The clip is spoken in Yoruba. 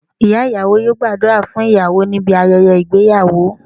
Ìyá ìyàwó yóò gbàdúrà fún ìyàwó níbi ayẹyẹ ìgbéyàwó